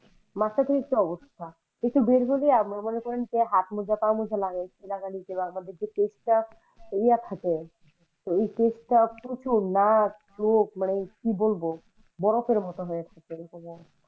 মাত্রাতিরিক্ত অবস্থা যে হাত মোজা পা মোজা লাগাই বরফের মত